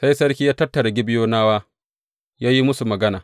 Sai sarki ya tattara Gibeyonawa ya yi musu magana.